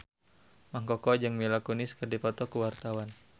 Mang Koko jeung Mila Kunis keur dipoto ku wartawan